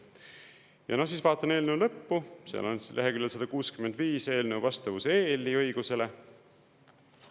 Ja siis vaatan eelnõu lõppu, seal on leheküljel 165 "Eelnõu vastavus EL-i õigusele".